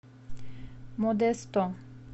модесто